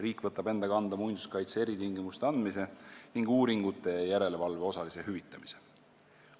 Riik võtab enda kanda muinsuskaitse eritingimuste andmise ning uuringute ja järelevalve osalise hüvitamise.